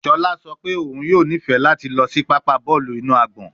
Shola sọ pe oun yoo nifẹ lati lọ si papa bọọlu inu agbọn